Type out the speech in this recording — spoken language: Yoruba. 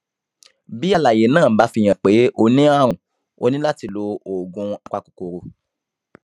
bí àlàyé náà bá fihàn pé o ní àrùn o ní láti lo oògùn apakòkòrò